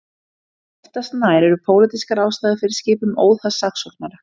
Oftast nær eru pólitískar ástæður fyrir skipun óháðs saksóknara.